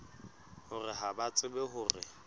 hore ha ba tsebe hore